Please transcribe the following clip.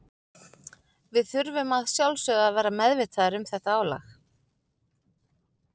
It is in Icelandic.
Við þurfum að sjálfsögðu að vera meðvitaðir um þetta álag.